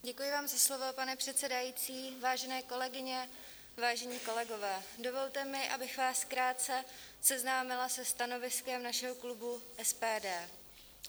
Děkuji vám za slovo, pane předsedající, vážené kolegyně, vážení kolegové, dovolte mi, abych vás krátce seznámila se stanoviskem našeho klubu SPD.